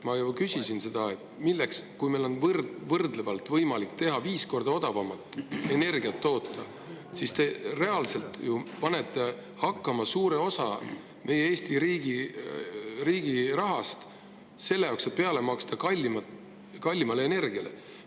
Ma ju küsisin seda, et kui meil on võimalik viis korda odavamat energiat toota, te siis reaalselt panete hakkama suure osa meie Eesti riigi rahast selle jaoks, et peale maksta kallimale energiale.